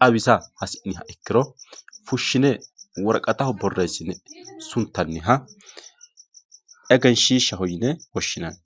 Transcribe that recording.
xawisa ikkiro fushine worqattaho borreesine suntanniha egenshiishaho yine woshshinanni.